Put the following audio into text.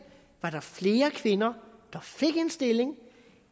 flere kvinder der fik en stilling